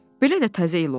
Belə də Təzə il olar?